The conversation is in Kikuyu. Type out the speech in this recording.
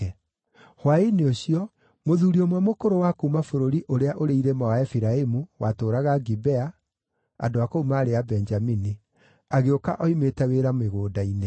Hwaĩ-inĩ ũcio, mũthuuri ũmwe mũkũrũ wa kuuma bũrũri ũrĩa ũrĩ irĩma wa Efiraimu, watũũraga Gibea, (andũ a kũu maarĩ Abenjamini), agĩũka oimĩte wĩra mĩgũnda-inĩ.